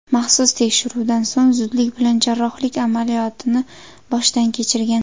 Maxsus tekshiruvdan so‘ng, zudlik bilan jarrohlik amaliyotini boshdan kechirgan.